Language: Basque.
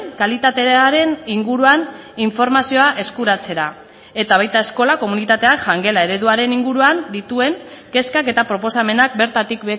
kalitatearen inguruan informazioa eskuratzera eta baita eskola komunitateak jangela ereduaren inguruan dituen kezkak eta proposamenak bertatik